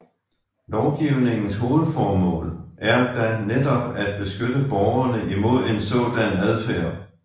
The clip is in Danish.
Lovgivningens hovedformål er da netop at beskytte borgerne imod en sådan adfærd